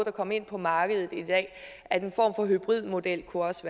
at komme ind på markedet i dag at en form for hybridmodel også